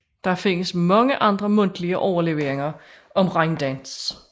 Der findes mange andre mundtlige overleveringer om regndans